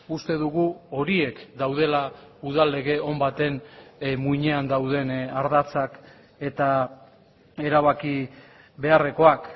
uste dugu horiek daudela udal lege on baten muinean dauden ardatzak eta erabaki beharrekoak